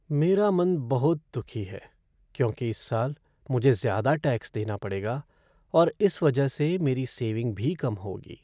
मेरा मन बहुत दुखी है, क्योंकि इस साल मुझे ज़्यादा टैक्स देना पड़ेगा और इस वजह से मेरी सेविंग भी कम होगी।